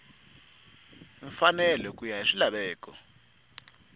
mfanelo ku ya hi swilaveko